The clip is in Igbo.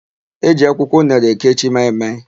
E ji akwụkwọ unere ekechi maị-maị.